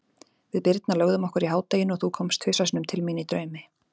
Við Birna lögðum okkur í hádeginu og þú komst tvisvar sinnum til mín í draumi.